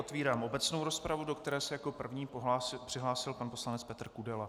Otvírám obecnou rozpravu, do které se jako první přihlásil pan poslanec Petr Kudela.